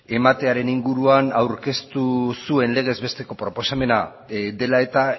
ematearen inguruan aurkeztu zuen legez besteko proposamena dela eta